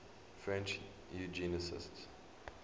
french eugenicists